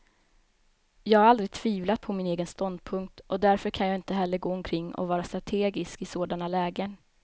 Jag har aldrig tvivlat på min egen ståndpunkt, och därför kan jag inte heller gå omkring och vara strategisk i sådana lägen.